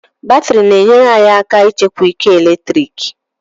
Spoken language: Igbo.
Batrị na-enyere anyị aka ịchekwa ike eletrik